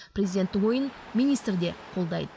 президенттің ойын министр де қолдайды